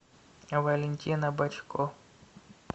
валентина бочко